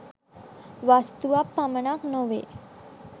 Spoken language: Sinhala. වස්තුවක් පමණක් නොවේ